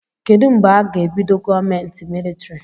Kedụ mgbe aga ebido gọọmenti militrị?